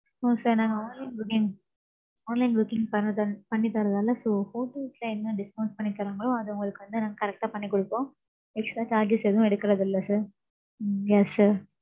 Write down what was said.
No sir நாங்க online booking. Online booking பன்றதன்~ பண்ணி தறதால, so hotels ல என்ன discount பண்ணி தர்றாங்களோ, அதை உங்களுக்கு வந்து, நாங்க correct ஆ பண்ணி கொடுப்போம். Extra charges எதும் எடுக்கறதில்ல sir. உம் yes sir.